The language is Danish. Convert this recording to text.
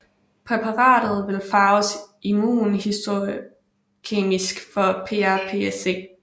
Præparatet vil farves immunhistokemisk for PrPSc